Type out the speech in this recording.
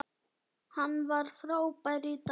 Hann var frábær í dag.